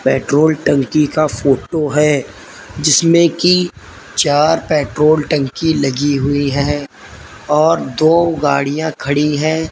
Petrol टंकी का photo है जिसमें की चार पेट्रोल टंकी लगी हुई है और दो गाड़ियां खड़ी है।